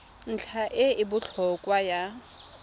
ntlha e e botlhokwa ya